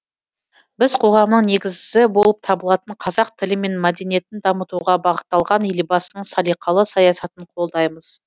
біз қоғамның негізі болып табылатын қазақ тілі мен мәдениетін дамытуға бағытталған елбасының салиқалы саясатын қолдаймыз